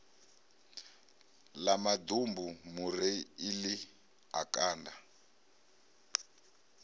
ḽa maḓumbu mureiḽi a kanda